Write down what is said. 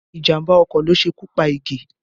Ìjàmbá ọkọ̀ ló ṣekú pa Ige